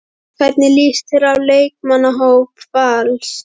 Hvernig líst þér á leikmannahóp Vals?